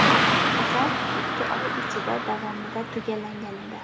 Asar ikki oy ichida davomida tugallangan edi.